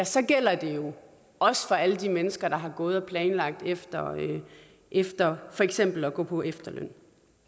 så gælder det jo også for alle de mennesker der har gået og planlagt efter efter for eksempel at gå på efterløn